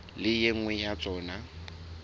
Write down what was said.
le e nngwe ya tsona